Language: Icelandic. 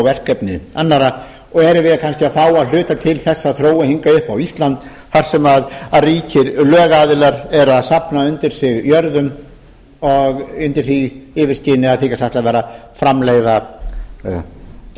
verkefni annarra og erum við kannski að fá að hluta til þessa þróun hingað upp á ísland þar sem ríkir lögaðilar eru að safna undir sig jörðum undir því yfirskini að þykjast